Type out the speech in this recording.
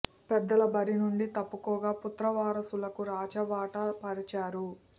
పెద్దలు బరి నుంచి తప్పుకోగా పుత్ర వారసులకు రాచ బాట పరిచారు